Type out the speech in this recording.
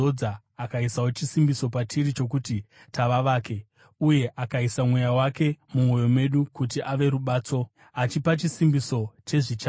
akaisawo chisimbiso patiri chokuti tava vake, uye akaisa Mweya wake mumwoyo medu kuti ave rubatso, achipa chisimbiso chezvichauya.